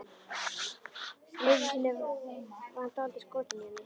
Einu sinni var hann dálítið skotinn í henni.